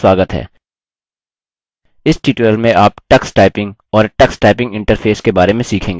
इस ट्यूटोरियल में आप tux typing और tux typing इंटरफेस के बारे में सीखेंगे